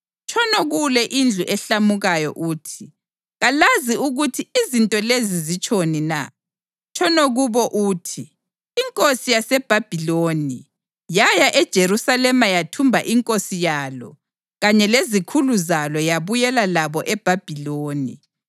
“Tshono kule indlu ehlamukayo uthi, ‘Kalazi ukuthi izinto lezi zitshoni na?’ Tshono kubo uthi, ‘Inkosi yaseBhabhiloni yaya eJerusalema yathumba inkosi yalo kanye lezikhulu zalo yabuyela labo eBhabhiloni.